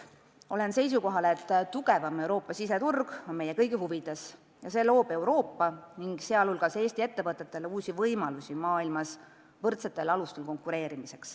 Olen seisukohal, et tugevam Euroopa siseturg on meie kõigi huvides ja see loob Euroopa, sh Eesti ettevõtetele uusi võimalusi maailmas võrdsetel alustel konkureerida.